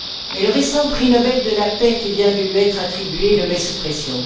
Mais le récent prix Nobel de la Paix qui vient de lui être attribué le met sous pression.